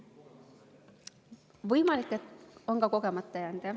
Võimalik, et on ka kogemata jäänud, jah.